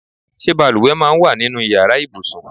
Ṣé bàlùwẹ̀ máa ń wà nínú ìyára ibùsùn?